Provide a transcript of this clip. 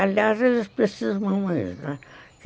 Aliás, eles precisam mesmo.